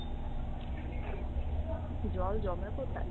জল জমে কোথায়?